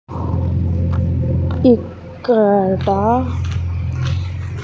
ఇక్కడ--